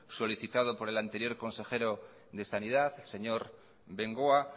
solicitado por el anterior consejero de sanidad señor bengoa